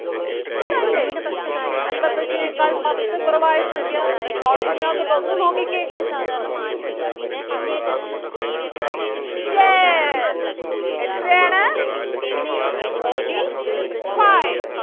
ഇതല്ലേ അൻപത്തഞ്ചിനെക്കാൾ പത്ത് കുറവായ സംഖ്യ? note book നാത്തോട്ട് ഒന്ന് നോക്കിക്കേ അല്ല Yes എത്രയാണ് forty-five